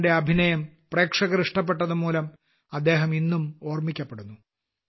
ആറിന്റെ അഭിനയം പ്രേക്ഷകർ ഇഷ്ടപ്പെട്ടതുമൂലം അദ്ദേഹം ഇന്നും ഓർമ്മിക്കപ്പെടുന്നു